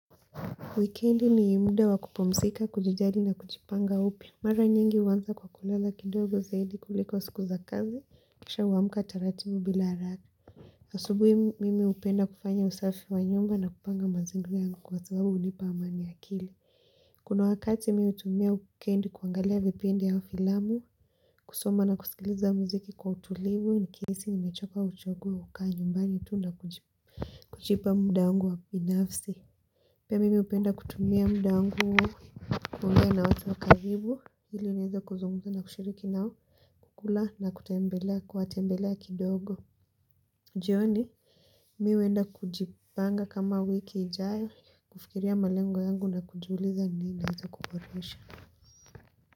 Wikendi ni muda wa kupumzika, kujijali na kujipanga upya. Mara nyingi huanza kwa kulala kidogo zaidi kuliko siku za kazi. Kisha huamuka taratibu bila haraka. Asubuhi mimi hupenda kufanya usafi wa nyumba na kupanga mazingira yangu kwa sababu hunipa amani ya akili. Kuna wakati mi hutumia wikendi kuangalia vipindi au filamu, kusoma na kusikiliza muziki kwa utulivu nikihisi nimechoka huchagua kukaa nyumbani tu na kujipa muda wangu ungu wa binafsi. Pia mimi hupenda kutumia mda wangu huo kuongea na watu wa karibu ili niweze kuzungumza na kushiriki nao kukula na kutembelea kuwatembelea kidogo jioni mi huenda kujipanga kama wiki ijayo kufikiria malengo yangu na kujiuliza ni nini naeza kuboresha.